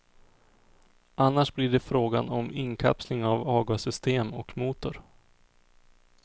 Annars blir det frågan om inkapsling av avgassystem och motor.